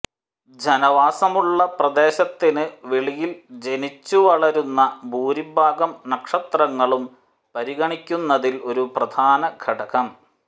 ജനവാസമുള്ള പ്രദേശത്തിന് വെളിയിൽ ജനിച്ചുവളരുന്ന ഭൂരിഭാഗം നക്ഷത്രങ്ങളും പരിഗണിക്കുന്നതിൽ ഒരു പ്രധാന ഘടകം